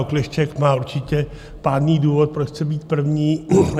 Okleštěk má určitě pádný důvod, proč chce být první.